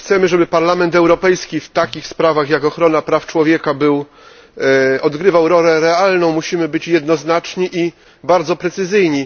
Jeśli chcemy, żeby Parlament Europejski w takich sprawach jak ochrona praw człowieka odgrywał rolę realną, musimy być jednoznaczni i bardzo precyzyjni.